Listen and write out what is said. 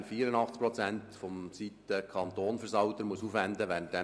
FILAG ist nicht anwendbar, weil neue Elemente der Aufgabenteilung fehlen.